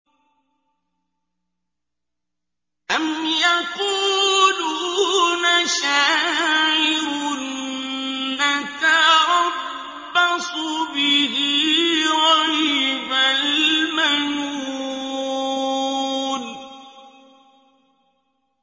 أَمْ يَقُولُونَ شَاعِرٌ نَّتَرَبَّصُ بِهِ رَيْبَ الْمَنُونِ